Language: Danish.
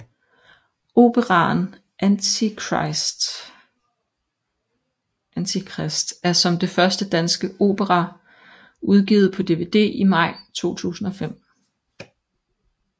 Operaen Antikrist er som den første danske opera udgivet på dvd i maj 2005